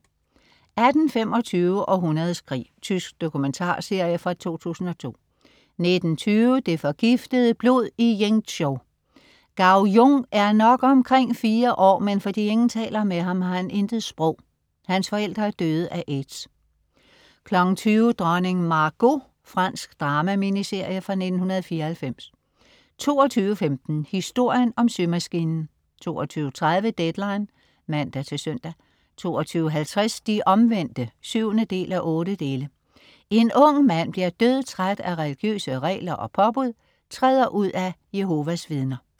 18.25 Århundredets krig. Tysk dokumentarserie fra 2002 19.20 Det forgiftede blod i Yingzhou. Gao Jun er nok omkring fire år, men fordi ingen taler med ham, har han intet sprog. Hans forældre er døde af aids 20.00 Dronning Margot. Fransk drama-miniserie fra 1994 22.15 Historien om symaskinen 22.30 Deadline (man-søn) 22.50 De Omvendte 7:8. En ung mand bliver dødtræt af religiøse regler og påbud, træder ud af Jehovas Vidner